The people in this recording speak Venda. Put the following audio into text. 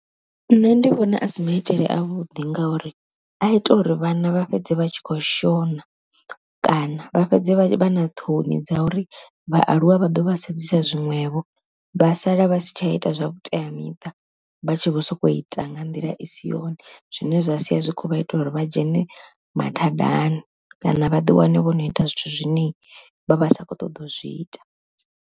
Nṋe ndi vhona asi maitele a vhuḓi ngauri a ita uri vhana vha fhedze vha tshi kho shona kana vha fhedze vha vha na ṱhoni dza uri vhaaluwa vha ḓo vha sedzisa zwiṅwevho vha sala vha si tsha ita zwa vhuteamiṱa, vha tshi vho sokou ita nga nḓila i si yone zwine zwasia zwikho vha ita uri vha dzhene mathadani, kana vha ḓi wane vho no ita zwithu zwine vha vha sa kho ṱoḓa u zwi ita.